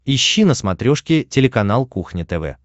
ищи на смотрешке телеканал кухня тв